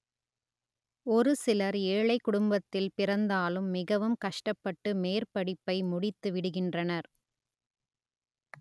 ஒரு சிலர் ஏழைக் குடும்பத்தில் பிறந்தாலும் மிகவும் கஷ்டப்பட்டு மேற்படிப்பை முடித்து விடுகின்றனர்